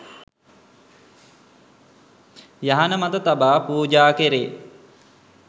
යහන මත තබා පූජා කෙරේ